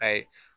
Ayi